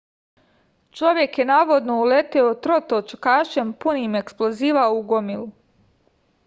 čovek je navodno uleteo trotočkašem punim eksploziva u gomilu